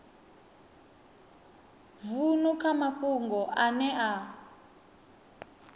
vunu kha mafhungo ane a